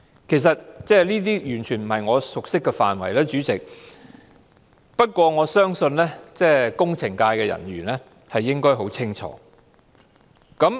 主席，這些完全不是我熟悉的範疇，但我相信工程界人士應該認識很清楚。